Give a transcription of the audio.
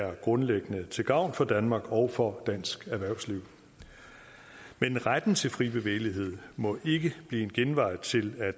er grundlæggende til gavn for danmark og for dansk erhvervsliv men retten til fri bevægelighed må ikke blive en genvej til at